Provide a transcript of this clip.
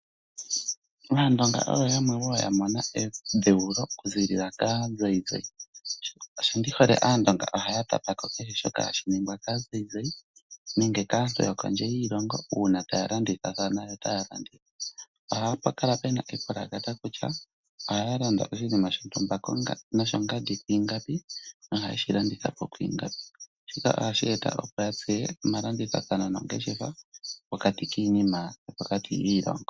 Aandonga oyo yamw yamona edhewulo oku zilila ka zayizayi. Shi ndi hole aandonga ohaya tapako keshe shoka hashi ningwa ka zayizayi nenge kaantu yokondje yiilonga uuna ta ya landitha thana yota landitha .Ohapu kala puna epulakata kutya ohaya landa oshinima shontumba ko nosho ngandi kwingapi nohaye shi landitha po kwingapi ,ohashi eta epo yatseye omalandithathano mongeshefa pokati kinima